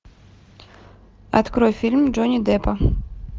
открой фильм джонни деппа